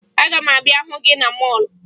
Aga m abịa hụ gị na mọọlụ